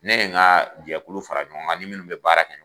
Ne ye n ka jɛkulu fara ɲɔgɔn kan n ni minnu bɛ baara kɛ.